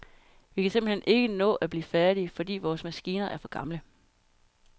Vi kan simpelt hen ikke nå at blive færdige, fordi vore maskiner er for gamle.